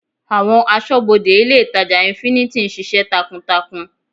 Àwọn asọ́bodè ilé ìtàjà infinity ń ṣiṣẹ́ takuntakun.